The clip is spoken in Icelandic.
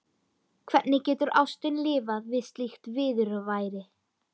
Hvernig getur ástin lifað við slíkt viðurværi?